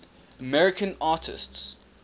american artists